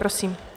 Prosím.